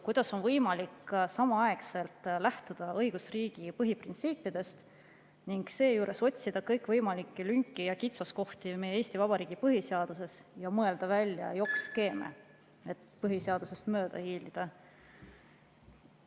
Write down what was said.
Kuidas on võimalik samaaegselt lähtuda õigusriigi põhiprintsiipidest ning seejuures otsida kõikvõimalikke lünki ja kitsaskohti meie Eesti Vabariigi põhiseaduses ja mõelda välja jokkskeeme, et põhiseadusest mööda hiilida?